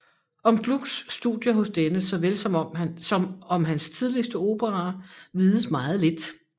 Om Glucks studier hos denne såvel som om hans tidligste operaer vides meget lidt